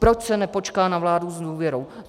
Proč se nepočká na vládu s důvěrou?